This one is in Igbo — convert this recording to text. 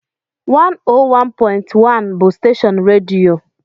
101.1 bụ steshọọnu redio